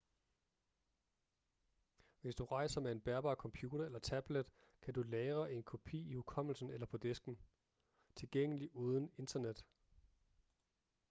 hvis du rejser med en bærbar computer eller tablet kan du lagre en kopi i hukommelsen eller på disken tilgængelig uden internet